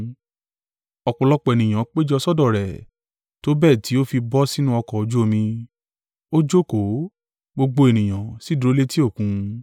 Ọ̀pọ̀lọpọ̀ ènìyàn péjọ sọ́dọ̀ rẹ̀, tó bẹ́ẹ̀ tí ó fi bọ́ sínú ọkọ̀ ojú omi, ó jókòó, gbogbo ènìyàn sì dúró létí Òkun.